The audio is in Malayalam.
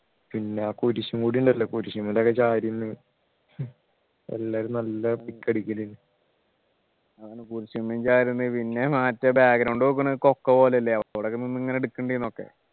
പിന്നെ ആ കുരിശും കൂടി ഉണ്ടല്ലോ കുരിശുമ്മലൊക്കെ ചാരി നിന്ന് എല്ലാരും നല്ല പിക് അടിക്കല് അതാണ് കുരിശുമേൽ ചാരി നിന്ന് പിന്നെ മറ്റേ നോക്കുന്നു കൊക്കപോലെ അല്ലെ അവിടൊക്കെ നിന്ന് ഇങ്ങനെ എടുക്കുന്നുണ്ടെന്നു ഒക്കെ